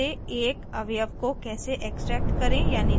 * एक array से एक अवयव को कैसे extract करें यानी निकालें